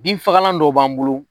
Bin fagalan dɔ b'an bolo.